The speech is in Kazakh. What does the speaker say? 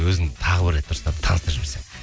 өзін тағы бір рет дұрыстап таныстырып жіберсең